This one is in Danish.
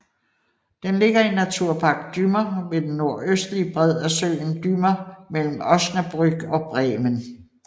Den ligger i Naturpark Dümmer ved den nordøstlige bred af søen Dümmer mellem Osnabrück og Bremen